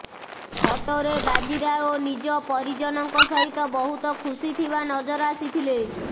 ଫଟୋରେ ବାଜିରାଓ ନିଜ ପରିଜନଙ୍କ ସହିତ ବହୁତ ଖୁସି ଥିବା ନଜର ଆସିଥିଲେ